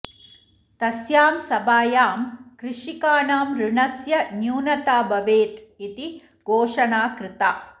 तस्यां सभायां कृषिकाणाम् ऋणस्य न्यूनता भवेत् इति घोषणा कृता